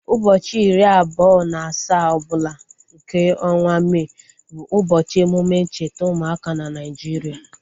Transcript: Ụbọchị iri abụọ na asaa ọbụla nke ọnwa May bụ ụbọchị emume ncheta ụmụaka na Nigeria